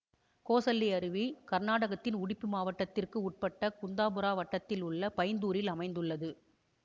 கோசள்ளி அருவி கர்நாடகத்தின் உடுப்பி மாவட்டத்திற்கு உட்பட்ட குந்தாபுரா வட்டத்தில் உள்ள பைந்தூரில் அமைந்துள்ளது